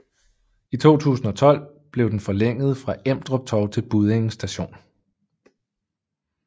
I 2012 blev den forlænget fra Emdrup Torv til Buddinge st